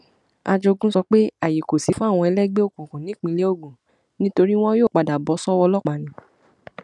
ajogun sọ pé ààyè kò sí fáwọn ẹlẹgbẹ òkùnkùn nípínlẹ ogun nítorí wọn yóò padà bọ sọwọ ọlọpàá ni